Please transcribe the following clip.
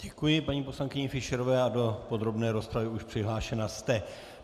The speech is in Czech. Děkuji paní poslankyni Fischerové a do podrobné rozpravy už přihlášena jste.